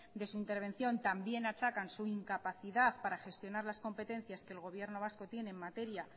de su intervención también achacan su incapacidad para gestionar las competencias que el gobierno vasco tiene en materia